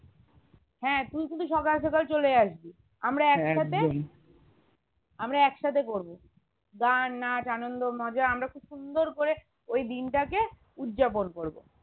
হ্যাঁ তুই শুধু সকাল সকাল চলে আসবি আমরা আমরা একসাথে করবো গান নাচ আনন্দ মজা আমরা খুব সুন্দর করে ওই দিনটাকে উজ্জাপন করবো